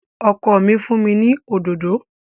Ọkọ mi fún mi ní òdòdó